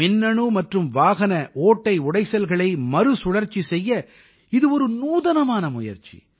மின்னணு மற்றும் வாகன ஓட்டை உடைசல்களை மறுசுழற்சி செய்ய இது ஒரு நூதனமான முயற்சி